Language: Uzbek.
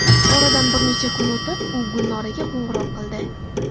Oradan bir necha kun o‘tib, u Gulnoraga qo‘ng‘iroq qildi.